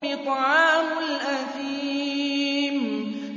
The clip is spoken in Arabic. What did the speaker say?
طَعَامُ الْأَثِيمِ